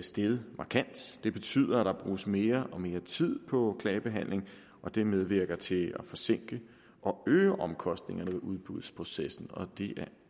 steget markant det betyder at der bruges mere og mere tid på klagebehandling det medvirker til at forsinke og øge omkostningerne i udbudsprocessen og det